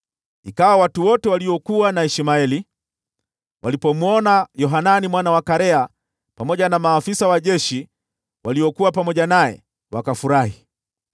Ikawa watu wote waliokuwa na Ishmaeli walipomwona Yohanani mwana wa Karea pamoja na maafisa wa jeshi waliokuwa pamoja naye, wakafurahi.